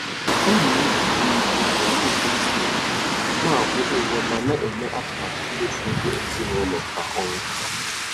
Ọ na-eji nlezianya na-edozi ego na-akwụ ụgwọ ma na-eme atụmatụ mmefu ego ezinụlọ kwa ọnwa.